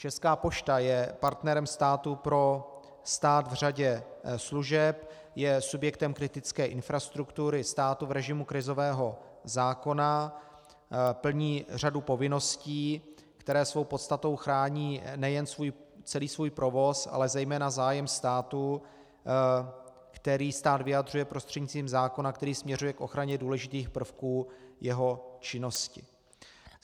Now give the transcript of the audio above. Česká pošta je partnerem státu pro stát v řadě služeb, je subjektem kritické infrastruktury státu v režimu krizového zákona, plní řadu povinností, které svou podstatou chrání nejen celý svůj provoz, ale zejména zájem státu, který stát vyjadřuje prostřednictvím zákona, který směřuje k ochraně důležitých prvků jeho činnosti.